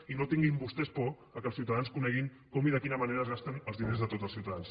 i no tinguin vostès por que els ciutadans coneguin com i de quina manera es gasten els diners de tots els ciutadans